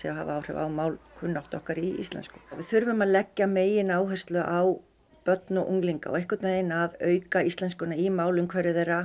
að hafa áhrif á málkunnáttu okkar í íslensku við þurfum að leggja megináherslu á börn og unglinga og einhvern veginn að auka íslenskuna í málumhverfi þeirra